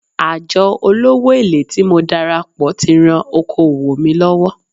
Àjọ olówó èlé tí mo darapọ̀ tí ran okòwò mi lọ́wọ́.